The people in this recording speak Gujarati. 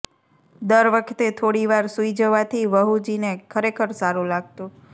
દર વખતે થોડી વાર સૂઈ જવાથી વહુજીને ખરેખર સારું લાગતું